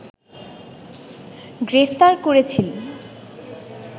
গ্রেপ্তার করেছিল